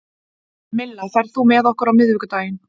Milla, ferð þú með okkur á miðvikudaginn?